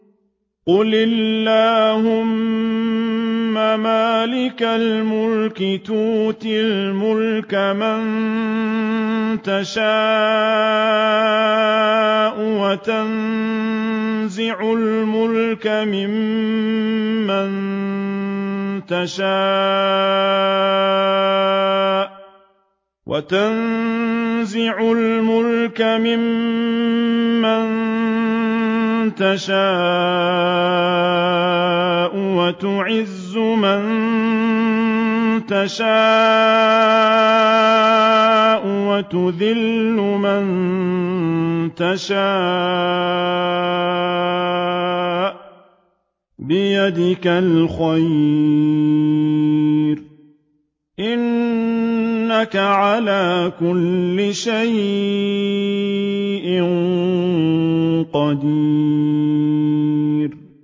قُلِ اللَّهُمَّ مَالِكَ الْمُلْكِ تُؤْتِي الْمُلْكَ مَن تَشَاءُ وَتَنزِعُ الْمُلْكَ مِمَّن تَشَاءُ وَتُعِزُّ مَن تَشَاءُ وَتُذِلُّ مَن تَشَاءُ ۖ بِيَدِكَ الْخَيْرُ ۖ إِنَّكَ عَلَىٰ كُلِّ شَيْءٍ قَدِيرٌ